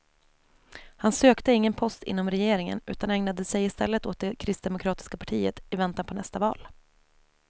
Han sökte ingen post inom regeringen, utan ägnade sig i stället åt det kristdemokratiska partiet i väntan på nästa val.